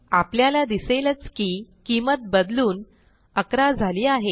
आपल्याला दिसेलच की किंमत बदलून 11 झाली आहे